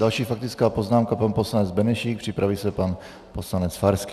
Další faktická poznámka, pan poslanec Benešík, připraví se pan poslanec Farský.